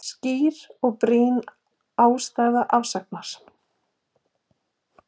Skýr og brýn ástæða afsagnar